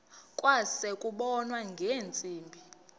kwase kubonwa ngeentsimbi